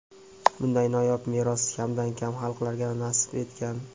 bunday noyob meros kamdan-kam xalqlarga nasib etgan.